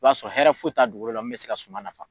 I b'a sɔrɔ hɛrɛ foyi t'a dugukolo la min bɛ se ka suma nafa.